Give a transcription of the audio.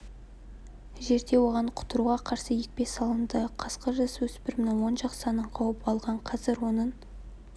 жерде оған құтыруға қарсы екпе салынды қасқыр жасөспірімнің оң жақ санын қауып алған қазір оның